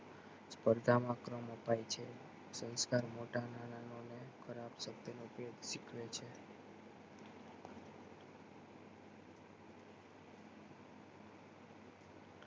સ્પર્ધા માં ક્રમ અપાય છે સંસ્કાર મોટા નાના નો અને ખરાબ સંભ્ય નો ભેદ શીખવે છે